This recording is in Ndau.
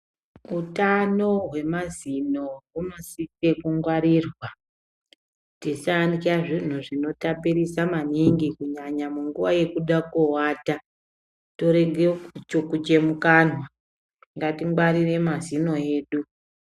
Utano hwemazino hunosise kungwarirwa. Tisarya zvinhu zvinotapirisa maningi kunyanya munguwa yekuda kowata torega kuchukuche mukanwa. Ngatingwarire mazino edu.